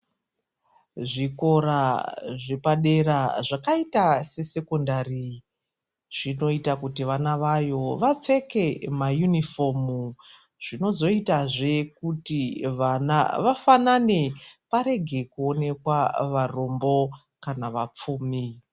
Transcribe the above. Zvikora zvepadera zvakayita sekondari, zvinoyita kuti vana vayo vapfeke maunifomu, zvinozoyitazve kuti vana vafanane parege kuwonekwa varombo kana vapfumi.